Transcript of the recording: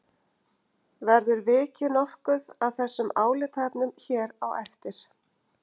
Verður vikið nokkuð að þessum álitaefnum hér á eftir.